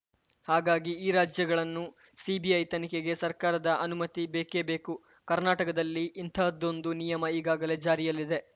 ಹಾಗಾಗಿ ಈ ರಾಜ್ಯಗಳನ್ನು ಸಿಬಿಐ ತನಿಖೆಗೆ ಸರ್ಕಾರದ ಅನುಮತಿ ಬೇಕೇ ಬೇಕು ಕರ್ನಾಟಕದಲ್ಲಿ ಇಂತಹದೊಂದು ನಿಯಮ ಈಗಾಗಲೇ ಜಾರಿಯಲ್ಲಿದೆ